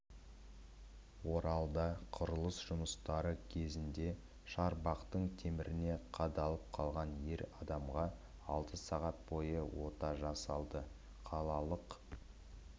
оралда құрылыс жұмыстары кезінде шарбақтың теміріне қадалып қалған ер адамға алты сағат бойы ота жасалды қалалық